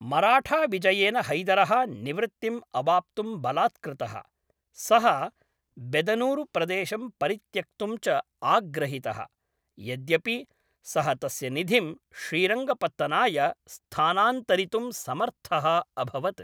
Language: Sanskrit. मराठाविजयेन हैदरः निवृत्तिम् अवाप्तुम् बलात्कृतः, सः बेदनूरु प्रदेशं परित्यक्तुं च आग्रहितः, यद्यपि सः तस्य निधिं श्रीरङ्गपत्तनाय स्थानन्तरितुं समर्थः अभवत्।